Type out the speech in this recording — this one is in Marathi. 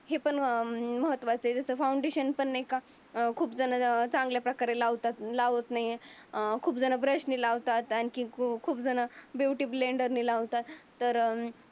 पण महत्त्वाच्य आहे. जस फाउंडेशन नाही का अं खूप जण चांगल्या प्रकारे लावतात लावत नाही. अं मला खूप जण ब्रशनी लावतात. आणखी काही झण ब्युटी ब्लेंडरंनी लावतात तर